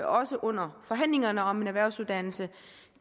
også under forhandlingerne om erhvervsuddannelserne